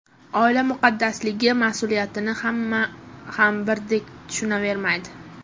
Oila muqaddasligi mas’uliyatini hamma ham birdek tushunavermaydi.